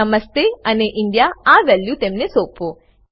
નમસ્તે અને ઇન્ડિયા આ વેલ્યુ તેમને સોપો